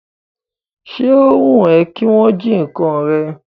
Ṣé o wùn ẹ́ kí wọn jí ǹkan rẹ?